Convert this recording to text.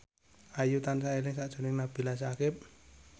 Ayu tansah eling sakjroning Nabila Syakieb